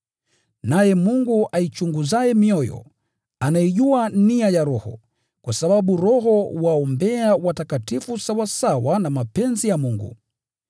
Naye Mungu aichunguzaye mioyo, anaijua nia ya Roho, kwa sababu Roho huwaombea watakatifu sawasawa na mapenzi ya Mungu.